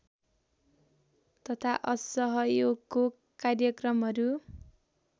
तथा असहयोगको कार्यक्रमहरू